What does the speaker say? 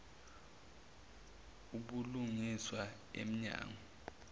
ubulungiswa em nyango